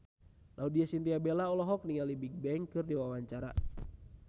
Laudya Chintya Bella olohok ningali Bigbang keur diwawancara